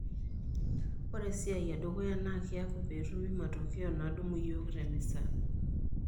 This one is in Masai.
Ore esiai edukuya na kiaku petumi matokeo nadumu yiok te misa.